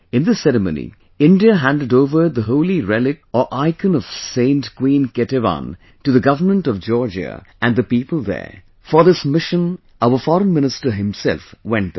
In this ceremony, India handed over the Holy Relic or icon of Saint Queen Ketevan to the Government of Georgia and the people there, for this mission our Foreign Minister himself went there